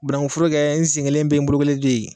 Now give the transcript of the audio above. banankuforo kɛ n sen kelen bɛ yen n bolo kelen tɛ yen